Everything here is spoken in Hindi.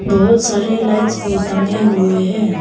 बहुत सारे लाइट्स भी टंगे हुए हैं।